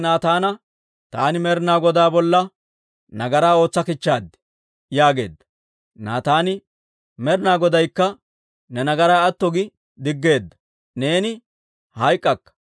Daawite Naataana, «Taani Med'inaa Godaa bolla nagaraa ootsa kichchaad» yaageedda. Naataani, «Med'inaa Godaykka ne nagaraa atto gi diggeedda; neeni hayk'k'akka.